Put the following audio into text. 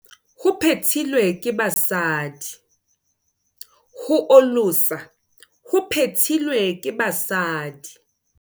ho olosa ho phethilwe ke basadi